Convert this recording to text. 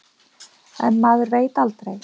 En maður veit aldrei.